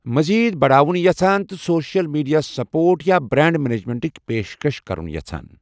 مٔزیٖد بڑاوُن یژھان تہٕ سوشل میڈیا سپورٹ یا برانڈ مینجمنٹٕچ پیشکش کرُن ہَسان؟